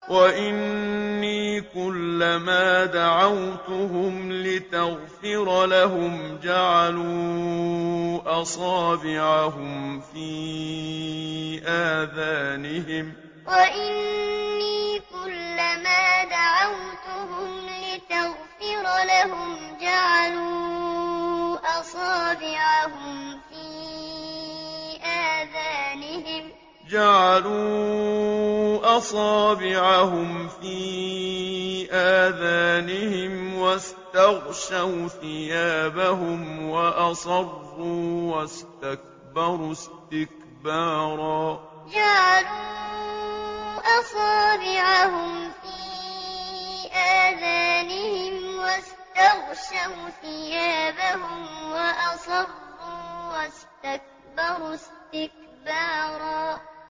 وَإِنِّي كُلَّمَا دَعَوْتُهُمْ لِتَغْفِرَ لَهُمْ جَعَلُوا أَصَابِعَهُمْ فِي آذَانِهِمْ وَاسْتَغْشَوْا ثِيَابَهُمْ وَأَصَرُّوا وَاسْتَكْبَرُوا اسْتِكْبَارًا وَإِنِّي كُلَّمَا دَعَوْتُهُمْ لِتَغْفِرَ لَهُمْ جَعَلُوا أَصَابِعَهُمْ فِي آذَانِهِمْ وَاسْتَغْشَوْا ثِيَابَهُمْ وَأَصَرُّوا وَاسْتَكْبَرُوا اسْتِكْبَارًا